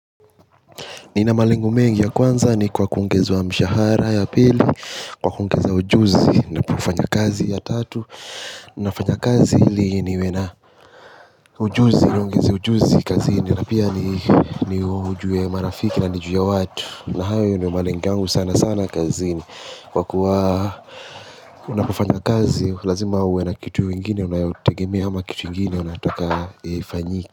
Nina malengo mengi ya kwanza ni kwa kuongezwa mshahara ya pili. Kwa kungeza ujuzi ninapofanya kazi ya tatu ninafanya kazi ili niwe na ujuzi, niongeze ujuzi kazini. Na pia ni ujue marafiki na nijue watu. Na hayo ndio malengo yangu sana sana kazini. Kwa kuwa unapofanya kazi, lazima uwe na kitu ingine unayotegemea ama kitu ingine unataka ifanyike.